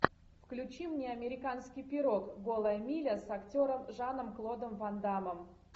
включи мне американский пирог голая миля с актером жаном клодом ван даммом